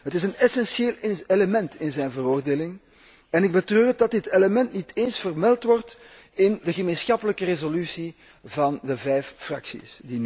Het is een essentieel element in zijn veroordeling en ik betreur het dat dit element niet eens vermeld wordt in de gemeenschappelijke resolutie van de vijf fracties.